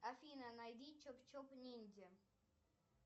афина найди чоп чоп ниндзя